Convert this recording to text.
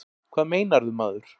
Hvað meinarðu, maður?